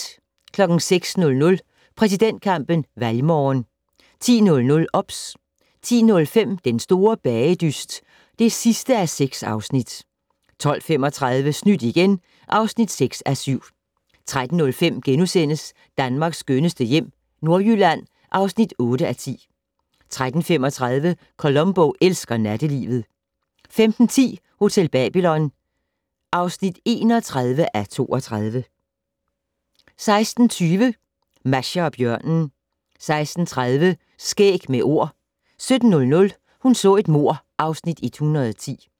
06:00: Præsidentkampen - valgmorgen 10:00: OBS 10:05: Den store bagedyst (6:6) 12:35: Snydt igen (6:7) 13:05: Danmarks skønneste hjem - Nordjylland (8:10)* 13:35: Columbo elsker nattelivet 15:10: Hotel Babylon (31:32) 16:20: Masha og bjørnen 16:30: Skæg med Ord 17:00: Hun så et mord (Afs. 110)